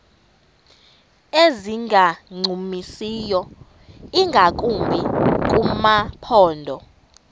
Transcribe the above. ezingancumisiyo ingakumbi kumaphondo